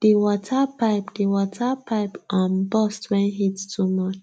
the water pipe the water pipe um burst when heat too much